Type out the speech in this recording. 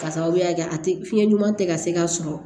K'a sababuya kɛ a tɛ fiɲɛ ɲuman tɛ ka se ka sɔrɔ